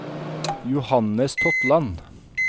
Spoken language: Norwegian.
Johannes Totland